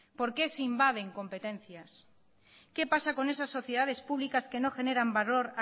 por qué se invaden competencias qué pasa con esas sociedades públicas que no generan valor